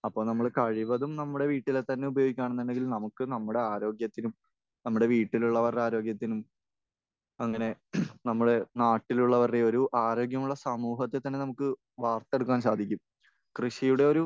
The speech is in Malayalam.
അപ്പോൾ നമ്മൾ കഴിവതും നമ്മുടെ വീട്ടിലെത്തന്നെ ഉപയോകിക്കുകയാണെന്നുണ്ടെങ്കിൽ നമുക്ക് നമ്മുടെ ആരോഗ്യത്തിനും നമ്മുടെ വീട്ടിലുള്ളവരുടെ ആരോഗ്യത്തിനും അങ്ങനെ നമ്മൾ നാട്ടിലുള്ളവരുടെ ഒരു ആരോഗ്യമുള്ള സമൂഹത്തെ തന്നെ നമുക്ക് വാർത്തെടുക്കാൻ സാധിക്കും. കൃഷിയുടെ ഒരു